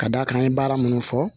Ka d'a kan an ye baara minnu fɔ